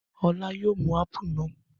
Ọlá yóò mú ápù náà.